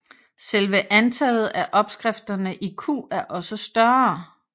Selve antallet af opskrifterne i Q er også større